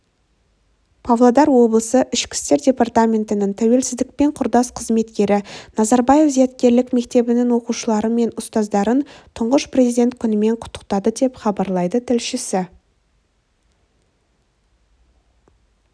павлодар облысы ішкі істер департаментінің тәуелсіздікпен құрдас қызметкері назарбаев зияткерлік мектебінің оқушылары мен ұстаздарын тұңғыш президент күнімен құттықтады деп хабарлайды тілшісі